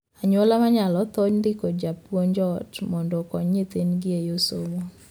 Anyuola monyalo thoro ndiko japuonj ot mondo okony nyithindgi e yor somo.